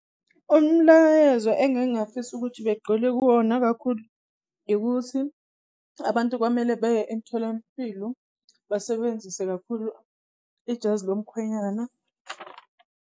Umlayezo engingafisa ukuthi begqile kuwona kakhulu, ikuthi abantu kwamele baye emtholampilo basebenzise kakhulu ijazi lomkhwenyana.